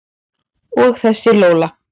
Og þessa Lola.